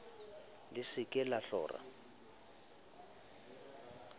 le se ke la hlora